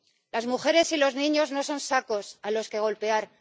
Las mujeres y los niños no son sacos a los que golpear.